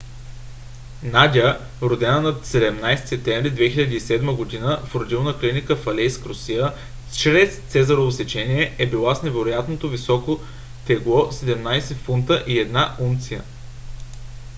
надя родена на 17 септември 2007 г. в родилна клиника в алейск русия чрез цезарово сечение е била с невероятно високото тегло 17 фунта и 1 унция